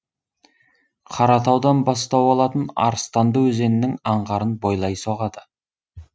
қаратаудан бастау алатын арыстанды өзенінің аңғарын бойлай соғады